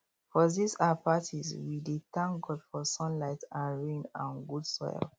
for these um parties we dey thank god for sunlight um rain and good soil